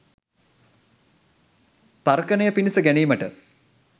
තර්කනය පිණිස ගැනීමට